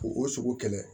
K'u o sogo kɛlɛ